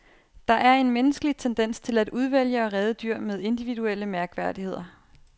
Der er en menneskelig tendens til at udvælge og redde dyr med individuelle mærkværdigheder.